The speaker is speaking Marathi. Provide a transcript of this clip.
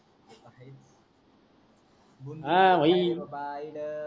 हा भाई